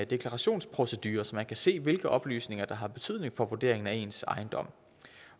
deklarationsprocedure så man kan se hvilke oplysninger der har betydning for vurderingen af ens ejendom